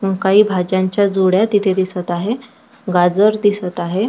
काही भाज्यांच्या जुड्या तिथे दिसत आहे गाजर दिसत आहे.